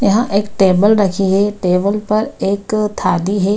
यहां एक टेबल रखी है। टेबल पर एक थाली है।